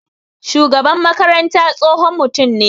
Shugaban makaranta tsohon mutum ne.